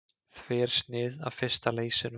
Þversnið af fyrsta leysinum.